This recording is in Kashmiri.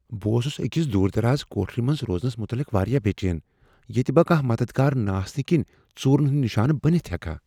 بہٕ اوسس أکس دور دراز کُٹھرِ منٛز روزنس مطلق واریاہ بے٘ چین ییٚتہ بہٕ كانہہ مدتھگار نہٕ آسنہٕ كِنہِ ژوٗرن ہٗند نِشانہٕ بنِتھ ہیكہا ۔